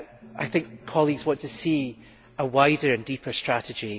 I think colleagues want to see a wider, deeper strategy.